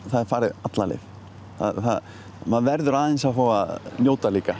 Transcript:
það er farið alla leið maður verður aðeins að fá að njóta líka